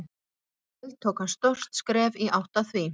Í kvöld tók hann stórt skref í átt að því.